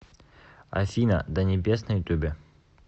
афина до небес на ютубе